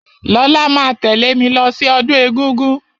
Lọlá máa tẹ̀lẹ́ mí lọ sí ọdún egúngún.